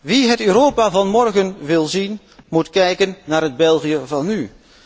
Wie het Europa van morgen wil zien, moet kijken naar het België van nu!